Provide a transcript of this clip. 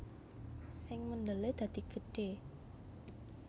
Sing mendele dadi gedhe